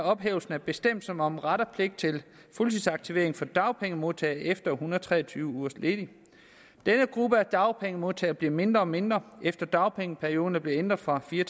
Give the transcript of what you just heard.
ophævelse af bestemmelsen om ret og pligt til fuldtidsaktivering for dagpengemodtagere efter en hundrede og tre og tyve ugers ledighed denne gruppe af dagpengemodtagere bliver mindre og mindre efter at dagpengeperioden er blevet ændret fra fire